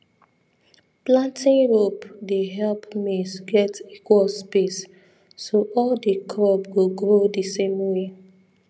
planting rope dey help maize get equal space so all the crop go grow the same way